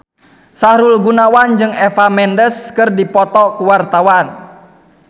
Sahrul Gunawan jeung Eva Mendes keur dipoto ku wartawan